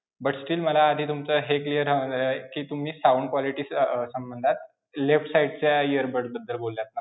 But still मला आधी तुमचा हे clear हवं आहे कि तुम्ही sound quality अं संबंधात left side च्या earbud बद्दल बोललात ना?